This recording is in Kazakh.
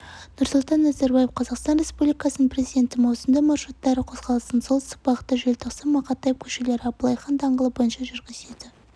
нұрсұлтан назарбаев қазақстан республикасының президенті маусымда маршруттары қозғалысын солтүстік бағытта желтоқсан-мақатаев көшелері абылай хан даңғылы бойынша жүргізеді